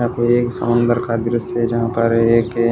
यह कोई समंदर का दृश्य है जहां पर एक--